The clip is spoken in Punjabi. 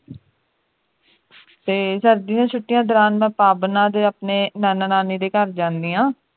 ਤੇ ਸਰਦੀ ਦੀਆਂ ਛੁੱਟੀਆਂ ਦੌਰਾਨ ਮੈਂ ਭਾਬਨਾ ਦੇ ਆਪਣੇ ਨਾਨਾ ਨਾਨੀ ਦੇ ਘਰ ਜਾਨੀ ਆਂ